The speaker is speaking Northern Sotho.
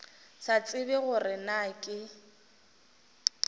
sa tsebe gore na ke